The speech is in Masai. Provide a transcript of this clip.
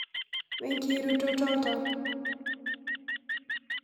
wekirutotot oltau?